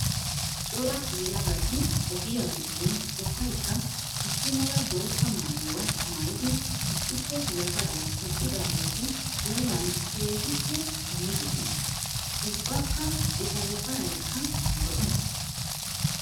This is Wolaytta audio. Cora yelagatti ogiya giddon ubbaykka issi mala bootta maayuwa maayiddi issippe yafaran eqqidaagetti puullanni keehippe biidosonna. Ubbakka etta yafaraykka lo'ees.